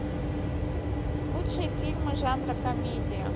лучшие фильмы жанра комедия